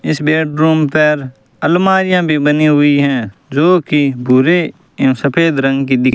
इस बेडरूम पर अलमारियां भी बनी हुई है जोकि भूरे एवं सफेद रंग की दिख --